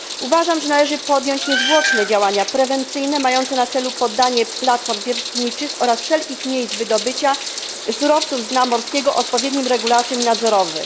Uważam, że należy podjąć niezwłoczne działania prewencyjne mające na celu poddanie platform wiertniczych oraz wszelkich miejsc wydobycia surowców z dna morskiego odpowiednim regulacjom i nadzorowi.